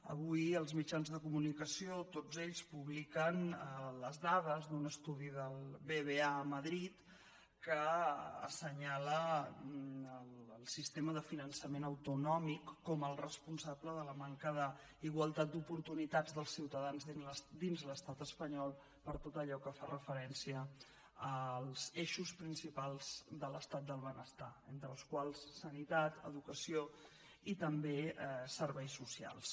avui els mitjans de comunicació tots ells publiquen les dades d’un estudi del bbva a madrid que assenyala el sistema de finançament autonòmic com el responsable de la manca d’igualtat d’oportunitats dels ciutadans dins l’estat espanyol per a tot allò que fa referència als eixos principals de l’estat del benestar entre els quals sanitat educació i també serveis socials